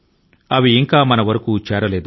అవి ఇంకా మన దాకా రాలేదు